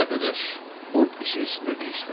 Yoldaş, bu işin içində bir iş var.